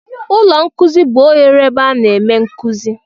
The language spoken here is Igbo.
Ụlọ nkuzi bụ oghere ebe a na-eme nkuzi.